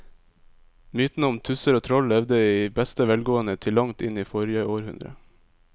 Mytene om tusser og troll levde i beste velgående til langt inn i forrige århundre.